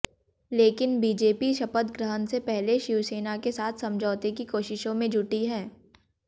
लेकिन बीजेपी शपथ ग्रहण से पहले शिवसेना के साथ समझौते की कोशिशों में जुटी है